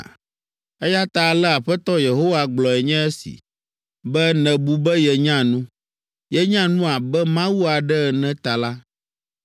“Eya ta ale Aƒetɔ Yehowa gblɔe nye esi: “Be nèbu be yenya nu, yenya nu abe mawu aɖe ene ta la,